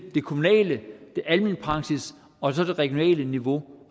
det kommunale det alment praktiske og det regionale niveau